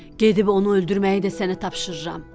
Gedib onu öldürməyi də sənə tapşırıram.